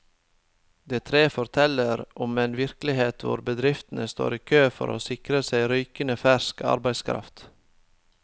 De tre forteller om en virkelighet hvor bedriftene står i kø for å sikre seg rykende fersk arbeidskraft.